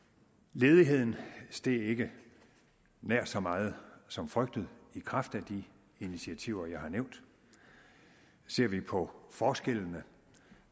ledigheden steg ikke nær så meget som frygtet i kraft af de initiativer jeg har nævnt ser vi på forskellene